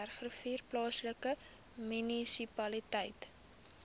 bergrivier plaaslike munisipaliteit